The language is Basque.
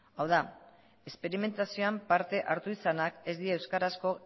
hau da esperimentazioan parte hartu izanak ez die euskarazko